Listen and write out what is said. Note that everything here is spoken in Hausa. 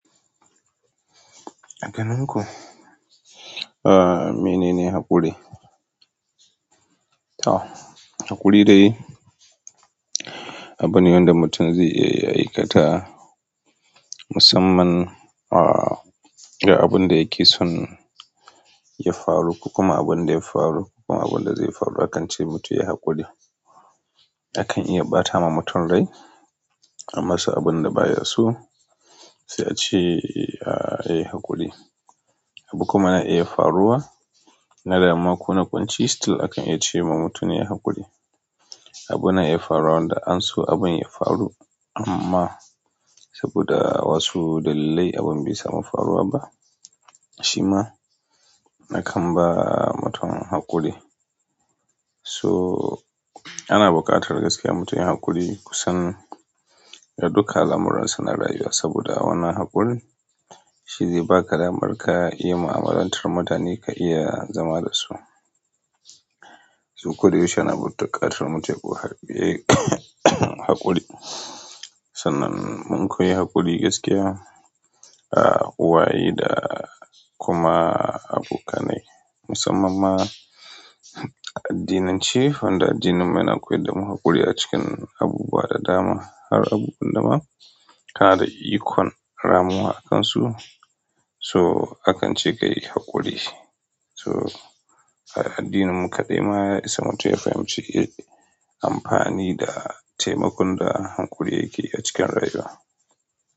A garin ku? Aaa, mine ne haƙuri? Ah, haƙuri dai abune wanda mutun zai iya aikata, musamman, aa, ga abin da yake son ya faru kuma abin da ya faru kuma abin da zai faru akan ce mutun ya yi haƙuri, akan iya ɓata ma mutum rai, amma so abin da ba ya so sai a ce, a, ya yi haƙuri, abu kuma na iya faruwa na damuwa ko na kunci still akan iya ce ma mutum ya yi haƙuri, abu na iya faruwa wanda an so abin ya faru amma, saboda wasu dalilai abin bai samu faruwa ba shima na kamba mutum haƙuri. So ana buƙatar gaskiya mutum yin haƙuri kusan da duka al'amuransa na rayuwa saboda wannan haƙuri, shi zai baka damar ka yi mu'amalantar mutane ka iya zama da su, so koda yaushe ana buƙatar mutum yayi haƙuri. Sannan mun koyi haƙuri gaskiya, a, kowa yayi da kuma abokanai musamman ma, addinance wanda addinin mu yana koyad da mu haƙuri a cikin abubuwa da dama. Kaga abubuwan dama kana da ikon ramuwa akan su, so akance kayi haƙuri, so a addinin mu kaɗai ma samut ya fahimci amfani da taimakon da haƙuri yake a cikin rayuwa.